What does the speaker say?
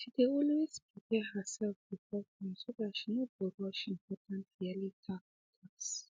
she dey always prepare her self before time so tht she no go rush important yearly tax tasks